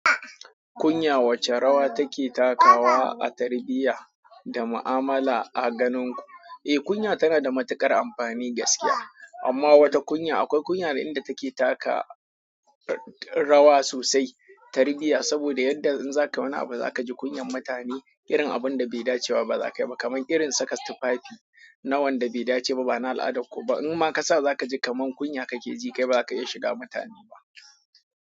Kunya wace rawa take takawa a tarbiyya da ma'amala a ganin ku? Eh kunya tana da matuƙar amfani gaskiya. Amma wata kunya akwai kunya da inda take taka rawa sosai tarbiyya. Saboda yadda in zaka wani abu zaka ji kunyan mutane irin abun da bai dacewa ba zakai ba. Kaman irin saka tufafi na wanda bai dace ba, bana al'adar ku ba. Inma ka sa za ka ji kaman kunya kake ji kai, kai ba za ka iya shiga mutane ba.